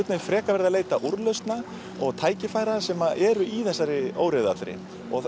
frekar verið að leita úrlausna og tækifæra sem eru í þessari óreiðu allri